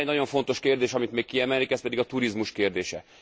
Van egy nagyon fontos kérdés, amit még kiemelnék, ez pedig a turizmus kérdése.